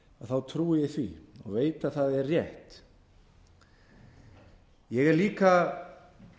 þá trúi ég því og veit að það er rétt ég er líka